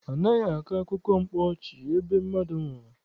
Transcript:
Anaghị akọ akụkọ mkpa ọchị ebe mmadụ nwụrụ.